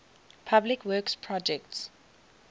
public works projects